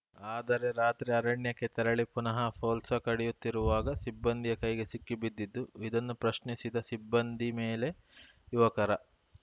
ಆದರೆ ರಾತ್ರಿ ಅರಣ್ಯಕ್ಕೆ ತೆರಳಿ ಪುನಹ ಪೋಲ್ಸ್‌ ಕಡಿಯುತ್ತಿರುವಾಗ ಸಿಬ್ಬಂದಿಯ ಕೈಗೆ ಸಿಕ್ಕಿಬಿದ್ದಿದ್ದು ಇದನ್ನು ಪ್ರಶ್ನಿಸಿದ ಸಿಬ್ಬಂದಿ ಮೇಲೆ ಯುವಕರ